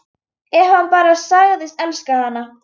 Ef hann bara segðist elska hana: